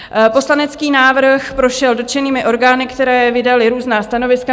Poslanecký návrh prošel dotčenými orgány, které vydaly různá stanoviska.